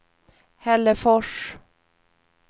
Hällefors